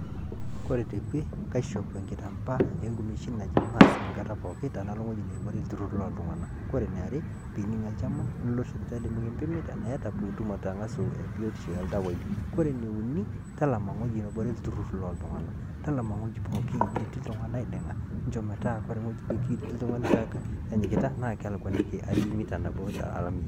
koree tekwe kaishop enkitampaa onkumeshin naji mask nkata pookin tenalo wueji netii ilturur loltunganak koree niare pining' enkima nilo sipitali mikimpimi enaa iyaata pituum angasu biotisho oldawai .kore ene uni talama enetii iltururi loltunganak. Talama ewueji netii iltunganak niding'a njoo metaa wore wueji netii iltungani anyikita nakelakuaniki mita nabo